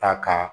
Ta ka